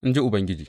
In ji Ubangiji.